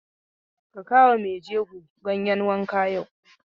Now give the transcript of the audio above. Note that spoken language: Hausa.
Ka kawo wa maijego ganyen wanka yau!